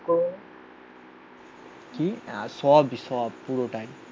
না সব সব পুরোটাই.